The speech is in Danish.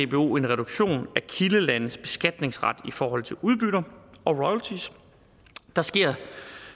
dbo en reduktion af kildelandets beskatningsret i forhold til udbytter og royalties der sker